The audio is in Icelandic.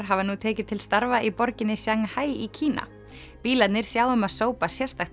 hafa nú tekið til starfa í borginni Shanghai í Kína bílarnir sjá um að sópa sérstakt